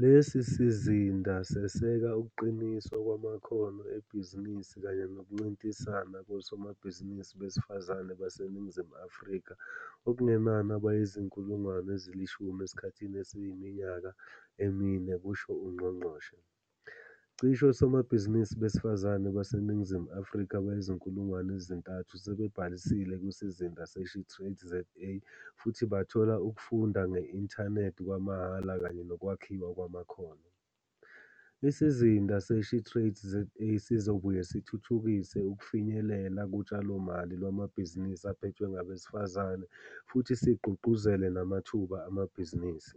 Lesi sizinda seseka ukuqiniswa kwamakhono ebhizinisi kanye nokuncintisana kosomabhizinisi besifazane baseNingizimu Afrika okungenani abayizi-10 000 esikhathini esiyiminyaka emine," kusho ungqongqoshe. Cishe osomabhizinisi besifazane baseNingizimu Afrika abayizi-3 000 sebebhalisile kwiSizinda se-SheTradesZA futhi bathola ukufunda nge-inthanethi kwamahhala kanye nokwakhiwa kwamakhono. Isizinda se-SheTradesZA sizobuye sithuthukise ukufinyelela kutshalomali lwamabhizinisi aphethwe ngabesifazane futhi sigqugquzele namathuba amabhizinisi.